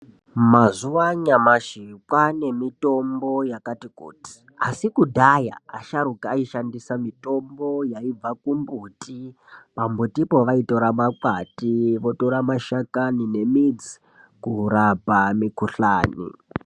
Mazuva anyamashi kwane mitombo yakati kutii, asi kudhaya asharuka aishandisa mitombo yaibva kumbuti, pambutipo vaitora makwati votora mashakani nemidzi kurapa mikuhlani.